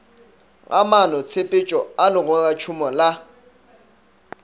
ga maanotshepetšo a legoratšhomo la